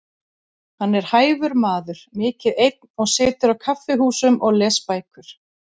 Hann er hæfur maður, mikið einn og situr á kaffihúsum og les bækur.